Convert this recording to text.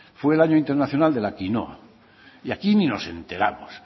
fue el año internacional de la quinoa y aquí ni nos enteramos